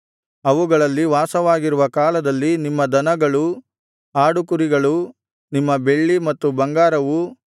ಅವುಗಳಲ್ಲಿ ವಾಸವಾಗಿರುವ ಕಾಲದಲ್ಲಿ ನಿಮ್ಮ ದನಗಳೂ ಆಡು ಕುರಿಗಳೂ ನಿಮ್ಮ ಬೆಳ್ಳಿ ಮತ್ತು ಬಂಗಾರವೂ